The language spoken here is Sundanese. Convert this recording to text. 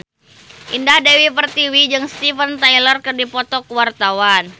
Indah Dewi Pertiwi jeung Steven Tyler keur dipoto ku wartawan